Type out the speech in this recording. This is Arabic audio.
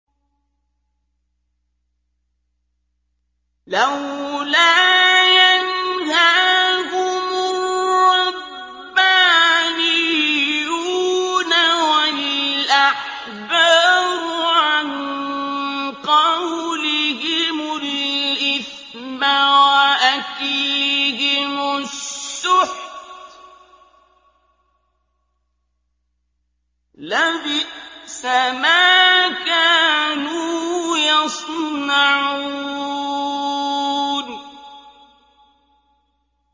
لَوْلَا يَنْهَاهُمُ الرَّبَّانِيُّونَ وَالْأَحْبَارُ عَن قَوْلِهِمُ الْإِثْمَ وَأَكْلِهِمُ السُّحْتَ ۚ لَبِئْسَ مَا كَانُوا يَصْنَعُونَ